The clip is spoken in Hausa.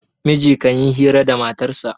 miji kan yi hira da matarsa